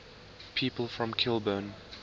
people from kilburn